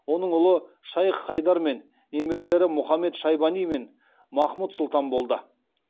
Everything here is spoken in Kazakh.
оның ұлы шайх хайдар мен немерелері мұхамед шайбани мен махмұд сұлтан болды